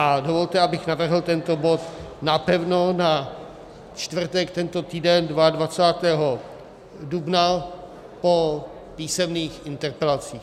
A dovolte, abych navrhl tento bod napevno na čtvrtek tento týden 22. dubna po písemných interpelacích.